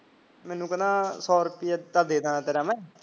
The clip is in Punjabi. ਮੈਨੂੰ ਕਹਿੰਦਾ ਸੋ ਰੁਪਿਆ ਤਾਂ ਦੇ ਦੇਣਾ ਮੈਂ